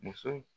Muso